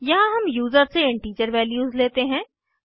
यहाँ हम यूज़र से इंटीजर वैल्यूज़ लेते हैं